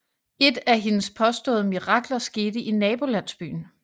Et af hendes påståede mirakler skete i nabolandsbyen